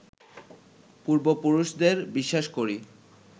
পূর্ব পুরুষদের বিশ্বাস করি